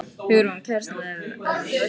Hugrún: Kærastan er ekkert hrædd um þig?